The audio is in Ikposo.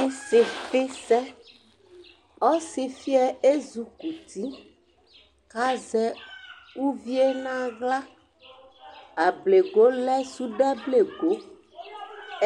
Ɩsɩfɩsɛ Ɔsɩfɩ yɛ ezikuti kʋ azɛ uvi yɛ nʋ aɣla Ablego lɛ, sude ablego